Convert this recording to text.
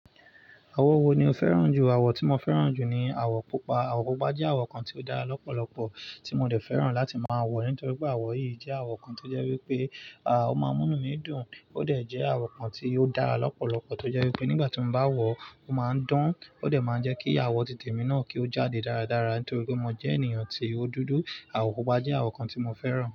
Àwọ̀n wo ni o fẹ́ràn jù? Àwọ̀ tí mo fẹ́ràn jù ni àwọ̀ pupa. Àwọ̀ pupa jẹ́ àwọ̀ kan tí ó dára lọ́pọ̀lọpọ̀ tí mo dẹ̀ fẹ́ràn láti máa wọ̀ nítorí pé àwọ̀ yìí jẹ́ àwọ̀ kan tó jẹ́ wípé, à, ó máa ń múnú mi dùn. Ó dẹ̀ jẹ́ àwọ̀ kan tí ó dára lọ́pọ̀lọpọ̀ tó jẹ́ wípé nígbà tí mo bá wọ̀ ọ́, ó máa ń dán. Ó dẹ̀ máa ń jẹ́ kí àwọ̀ títè mi náà kí ó jáde dáradára nítorí pé mo jẹ́ ènìyàn tí ó dúdú. Àwọ̀ pupa jẹ́ àwọ̀ kan tí mo fẹ́ràn.